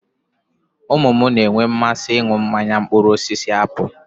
Ụmụ mụ na-enwe mmasị ị nụ mmanya mkpụrụosisi apụlụ